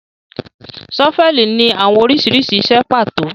Ṣọ́fẹlì ni awọn oriṣiriṣi iṣẹ pato